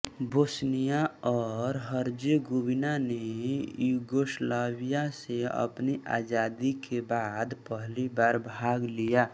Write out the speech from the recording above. Bosnia और Herzegovina ने Yugoslavia से अपनी आजादी के बाद पहली बार भाग लिया